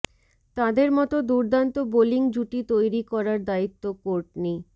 তাঁদের মতো দুর্দান্ত বোলিং জুটি তৈরি করার দায়িত্ব কোর্টনি